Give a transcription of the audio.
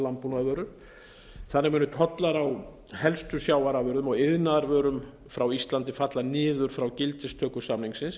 landbúnaðarvörur þannig munu tollar á helstu sjávarafurðum og iðnaðarvörum frá íslandi falla niður frá gildistöku samningsins